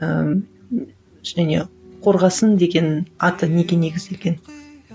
ыыы кішкене қорғасын деген аты неге негізделген